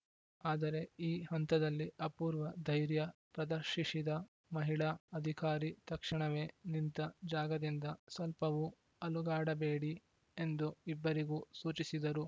ಆದರೆ ಈ ಹಂತದಲ್ಲಿ ಅಪೂರ್ವ ಧೈರ್ಯ ಪ್ರದರ್ಶಿಶಿದ ಮಹಿಳಾ ಅಧಿಕಾರಿ ತಕ್ಷಣವೇ ನಿಂತ ಜಾಗದಿಂದ ಸ್ವಲ್ಪವೂ ಅಲುಗಾಡಬೇಡಿ ಎಂದು ಇಬ್ಬರಿಗೂ ಸೂಚಿಸಿದರು